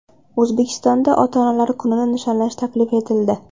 O‘zbekistonda ota-onalar kunini nishonlash taklif etildi.